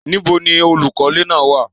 Níbò ni olúkọlẹ̀ náà wá?